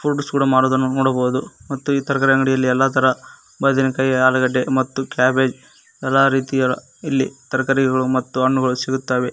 ಸುಡು ಸುಡು ಮಾರುವುದನ್ನು ನೋಡಬಹುದು ಮತ್ತು ಈ ತರಕಾರಿ ಅಂಗಡಿಯಲ್ಲಿ ಎಲ್ಲಾ ತರ ಬದನೆಕಾಯಿ ಆಲೂಗಡ್ಡೆ ಮತ್ತು ಕ್ಯಾಬೇಜ್ ಎಲ್ಲಾ ರೀತಿಯಾದ ಇಲ್ಲಿ ತರಕಾರಿಗಳು ಮತ್ತು ಹಣ್ಣುಗಳು ಸಿಗುತ್ತವೆ.